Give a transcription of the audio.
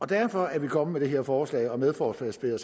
derfor er vi kommet med det her forslag og er medforslagsstillere